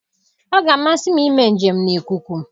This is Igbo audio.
Ọ ga-amasị m ime njem n'ikuku.